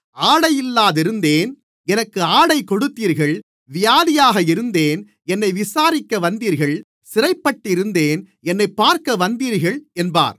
ஆடை இல்லாதிருந்தேன் எனக்கு ஆடை கொடுத்தீர்கள் வியாதியாக இருந்தேன் என்னை விசாரிக்க வந்தீர்கள் சிறைப்பட்டிருந்தேன் என்னைப் பார்க்க வந்தீர்கள் என்பார்